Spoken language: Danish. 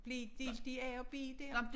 Blev I delt i a og b der?